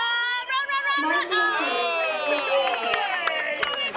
Mæting mín er mjög léleg.